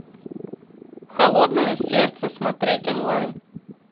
холодное сердце смотреть онлайн